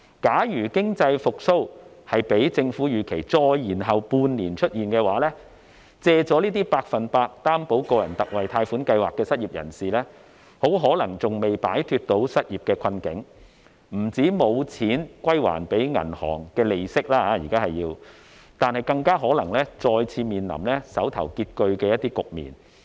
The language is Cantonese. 假如經濟復蘇較政府預期再延後半年出現，借了百分百擔保個人特惠貸款計劃的失業人士很可能尚未擺脫失業的困境，不但沒有錢歸還銀行利息，更可能再次面臨手頭拮据的局面。